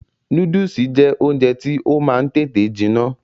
Núdùsì jẹ́ oúnjẹ tí ó máa ń tètè jiná